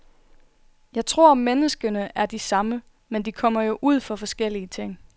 Jeg tror menneskene er de samme, men de kommer jo ud for forskellige ting.